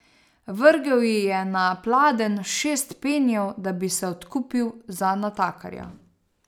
Vrgel ji je na pladenj šest penijev, da bi se odkupil za natakarja.